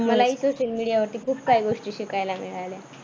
मलाही social media वरती खूप काही गोष्टी शिकायला मिळाल्या.